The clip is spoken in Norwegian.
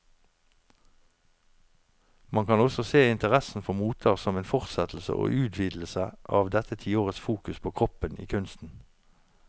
Man kan også se interessen for moter som en fortsettelse og utvidelse av dette tiårets fokus på kroppen i kunsten.